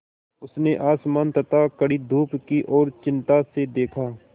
उसने आसमान तथा कड़ी धूप की ओर चिंता से देखा